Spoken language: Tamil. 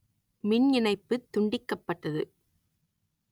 மின் இணைப்பு துண்டிக்கப்பட்டது